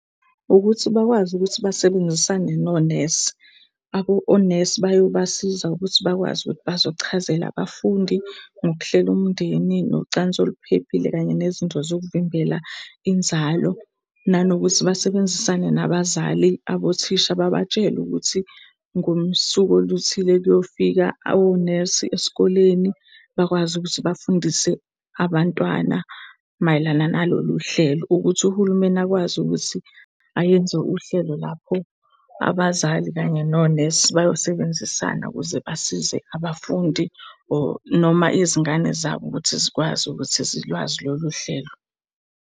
Ukuthi bakwazi ukuthi basebenzisane nonesi. Onesi bayobasiza ukuthi bakwazi ukuthi bazochazela abafundi ngokuhlela umndeni, nocansi oluphephile kanye nezinto zokuvimbela inzalo. Nanokuthi basebenzisane nabazali abothisha babatshele ukuthi ngosuku oluthile kuyofika onesi esikoleni. Bakwazi ukuthi bafundise abantwana mayelana nalolu uhlelo ukuthi uhulumeni akwazi ukuthi ayenze uhlelo lapho abazali kanye nonesi bayosebenzisana ukuze basize abafundi, or noma izingane zabo ukuthi zikwazi ukuthi zilwazi lolu uhlelo.